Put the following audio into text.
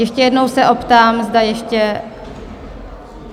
Ještě jednou se optám, zda ještě...